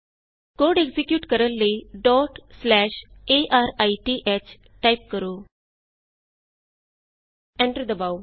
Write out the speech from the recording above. code execute ਕਰਨ ਲਈ arith type ਕਰੋ ਐਂਟਰ ਦਬਾਉ